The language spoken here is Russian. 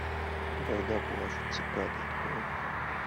когда плачут цикады открой